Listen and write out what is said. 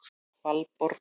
Valborg